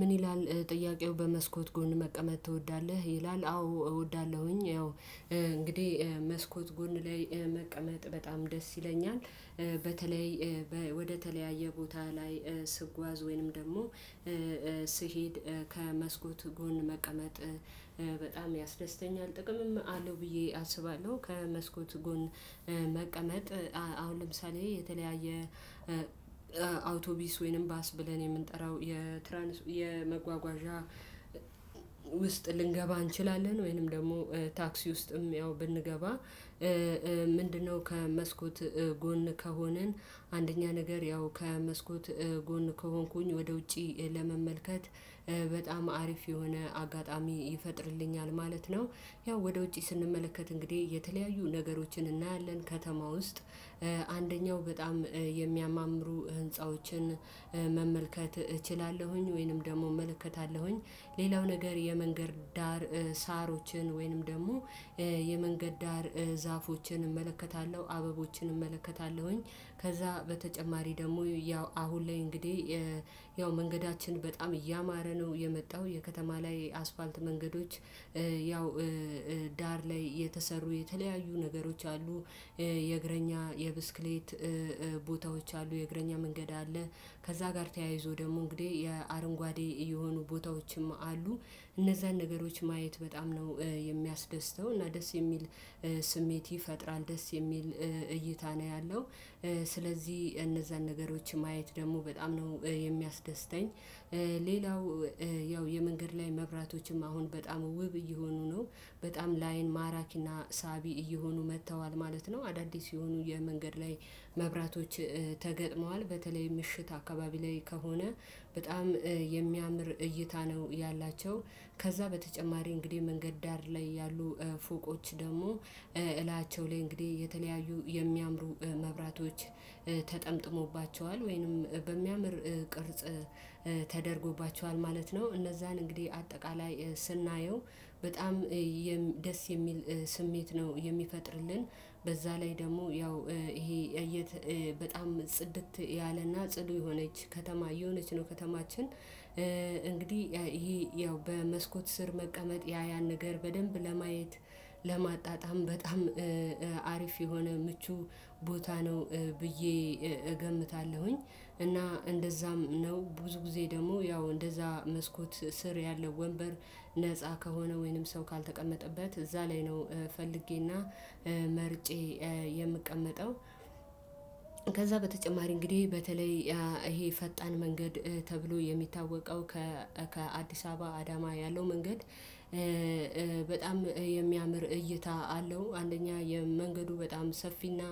ምን? ይላል ጥያቄው በመስኮት ጎን መቀመጥ ትወዳለህ ይላል አዎ እወዳለሁኝ ያው እንግዲህ መስኮት ጎን ላይ መቀመጥ በጣም ደስ ይለኛል። በተለይ ወደ ተለያየ ቦታ ላይ ስጓዝ ወይንም ደግሞ ስሄድ ከመስኮት ጎን መቀመጥ በጣም ያስደስተኛል ጥቅምም አለው። ብዬ አስባለሁ ከመስኮት ጎን መቀመጥ አሁን ለምሳሌ የተለያየ አውቶቢስ ወይንም ባስ ብለን የምንጠራው የትራንስ የመጓጓዣ ውስጥ ልንገባ እንችላለን። ወይንም ደግሞ ታክሲ ውስጥም ያው ብንገባ ምንድነው ከመስኮት ጎን ከሆንን አንደኛ ነገር ያው ከመስኮት ጎን ከሆንኩኝ ወደ ውጪ ለመመልከት በጣም አሪፍ የሆነ አጋጣሚ ይፈጥርልኛል ማለት ነው። ያው ወደ ውጪ ስንመለከት እንግዲህ የተለያዩ ነገሮችን እናያለን ከተማ ውስጥ አንደኛው በጣም የሚያማምሩ ህንፃዎችን መመልከት እችላለሁኝ ወይንም ደግሞ እመለከታለሁኝ። ሌላው ነገር የመንገድ ዳር ሳሮችን ወይንም ደግሞ የመንገድ ዳር ዛፎችን እመለከታለሁ አበቦችን እመለከታለሁኝ። ከዛ በተጨማሪ ደግሞ ያው አሁን ላይ እንግዲህ ያው መንገዳችን በጣም እያማረ ነው የመጣው የከተማ ላይ አስፋልት መንገዶች። ያው ዳር ላይ የተሰሩ የተለያዩ ነገሮች አሉ። የእግረኛ የብስክሌት ቦታዎች አሉ የእግረኛ መንገድ አለ። ከዛ ጋር ተያይዞ ደግሞ እንግዲህ የአረንጓዴ የሆኑ ቦታዎችም አሉ። እነዛን ነገሮች ማየት በጣም ነው የሚያስደስተው እና ደስ የሚል ስሜት ይፈጥራል ደስ የሚል እይታ ነው ያለው። ስለዚህ እነዛን ነገሮች ማየት ደግሞ በጣም ነው የሚያስደስተኝ። ሌላው ያው የመንገድ ላይ መብራቶችም አሁን በጣም ውብ እየሆኑ ነው በጣም ላይን ማራኪና ሳቢ እየሆኑ መጥተዋል ማለት ነው። አዳዲስ የሆኑ የመንገድ ላይ መብራቶች ተገጥመዋል። በተለይ ምሽት አካባቢ ላይ ከሆነ በጣም የሚያምር እይታ ነው ያላቸው። ከዛ በተጨማሪ እንግዲህ መንገድ ዳር ላይ ያሉ ፎቆች ደግሞ እላያቸው ላይ እንግዲህ የተለያዩ የሚያምሩ መብራቶች ተጠምጥሞባቸዋል ወይንም በሚያምር ቅርጽ ተደርጎባቸዋል ማለት ነው። እነዛን እንግዲህ አጠቃላይ ስናየው በጣም ደስ የሚል ስሜት ነው የሚፈጥርልን። በዛ ላይ ደግሞ ያው ይሄ በጣም ጽድት ያለና ጽዱ የሆነች ከተማ የሆነች ነው። ከተማችን እንግዲህ ይሄ ያው በመስኮት ስር መቀመጥ ያ ያን ነገር በደንብ ለማየት ለማጣጣም በጣም አሪፍ የሆነ ምቹ ቦታ ነው። ብዬ እገምታለሁኝ እና እንደዛም ነው ብዙ ጊዜ ደግሞ ያው እንደዛ መስኮት ስር ያለው ወንበር ነፃ ከሆነ ወይንም ሰው ካልተቀመጠበት እዛ ላይ ነው ፈልጌና መርጬ የምቀመጠው። በተጨማሪ እንግዲህ በተለይ ይሄ ፈጣን መንገድ ተብሎ የሚታወቀው ከአዲስ አበባ አዳማ ያለው መንገድ በጣም የሚያምር እይታ አለው። አንደኛ የመንገዱ በጣም ሰፊና